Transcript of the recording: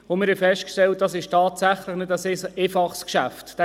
Wir haben festgestellt, dass dies tatsächlich kein einfaches Geschäft ist.